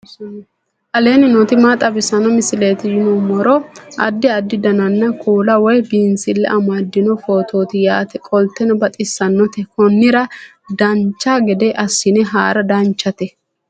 aleenni nooti maa xawisanno misileeti yinummoro addi addi dananna kuula woy biinsille amaddino footooti yaate qoltenno baxissannote konnira dancha gede assine haara danchate